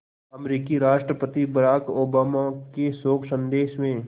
अमरीकी राष्ट्रपति Barack Obama के शोक संदेश में